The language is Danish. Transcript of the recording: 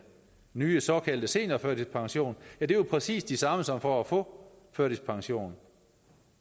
nye såkaldte seniorførtidspension er jo præcis de samme som for at få førtidspension